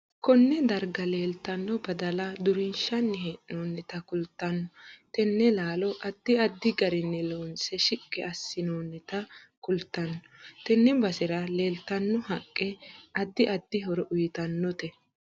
Konne darga leeltano badala durinshani heenoonita kultanno tene laalo addi addi garinni loonse shiqqi asonoonita kultanno tenne basera leeltanno haqqe addi addi horo uyiitanote